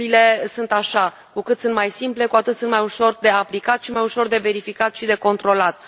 Regulile sunt așa cu cât sunt mai simple, cu atât sunt mai ușor de aplicat și mai ușor de verificat și de controlat.